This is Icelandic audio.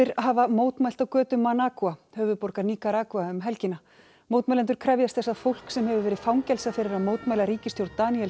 hafa mótmælt á götum höfuðborgar Níkaragva um helgina mótmælendur krefjast þess að fólk sem hefur verið fangelsað fyrir að mótmæla ríkisstjórn Daníels